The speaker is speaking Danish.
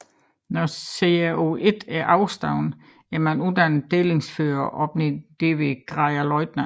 Når GRO1 er overstået er man uddannet delingsfører og opnår derved graden løjtnant